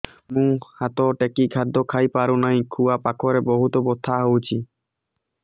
ମୁ ହାତ ଟେକି ଖାଦ୍ୟ ଖାଇପାରୁନାହିଁ ଖୁଆ ପାଖରେ ବହୁତ ବଥା ହଉଚି